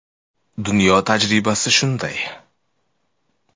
“Dunyo tajribasi shunday.